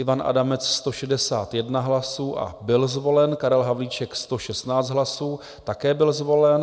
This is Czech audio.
Ivan Adamec 161 hlasů a byl zvolen, Karel Havlíček 116 hlasů, také byl zvolen.